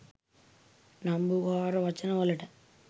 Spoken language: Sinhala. නම්බුකාර වචන වලට